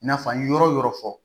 I n'a fɔ an ye yɔrɔ yɔrɔ fɔ